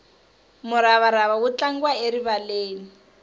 muravarava wu tlangiwa erivaleni